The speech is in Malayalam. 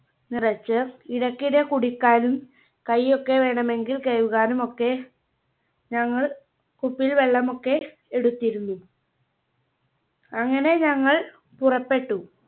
നിറച്ച് ഇടയ്ക്കിടെ കുടിക്കാനും കൈയ്യൊക്കെ വേണമെങ്കിൽ കഴുകാനും ഒക്കെ ഞങ്ങൾ കുപ്പിയിൽ വെള്ളമൊക്കെ എടുത്തിരുന്നു. അങ്ങനെ ഞങ്ങൾ പുറപ്പെട്ടു.